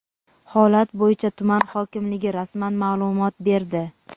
Holat bo‘yicha tuman hokimligi rasmiy ma’lumot berdi.